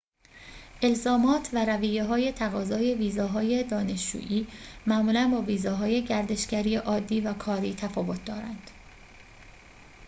الزامات و رویه‌های تقاضای ویزاهای دانشجویی معمولاً با ویزاهای گردشگری عادی و کاری تفاوت دارند